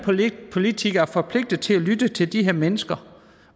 politikere er forpligtet til at lytte til de her mennesker